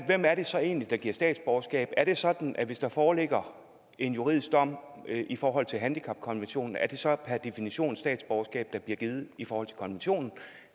hvem er det så egentlig der giver statsborgerskab er det sådan at hvis der foreligger en juridisk dom i forhold til handicapkonventionen er det så per definition statsborgerskab der bliver givet i forhold til konventionen